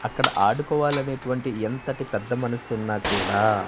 అక్కడ ఆడుకోవాలనేటువంటి ఎంతటి పెద్ద మనస్సు ఉన్నా కూడా--